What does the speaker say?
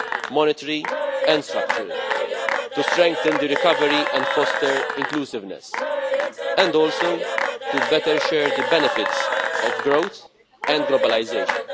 monetary and structural, to strengthen the recovery and foster inclusiveness, and also to better share the benefits of growth and globalisation.